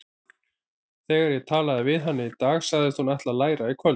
Þegar ég talaði við hana í dag sagðist hún ætla að læra í kvöld.